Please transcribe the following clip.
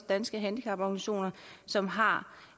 danske handicaporganisationer som har